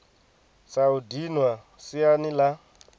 sa u dinwa siani la